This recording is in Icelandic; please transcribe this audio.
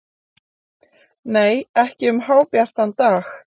Nei, ekki um hábjartan dag.